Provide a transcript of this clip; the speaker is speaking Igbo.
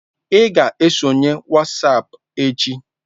Ị ga-esonyere WhatsApp echi.